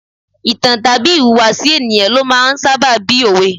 Ìtàn tàbí ìhùwàsí ènìyàn ló máa ń sábà bí òwe.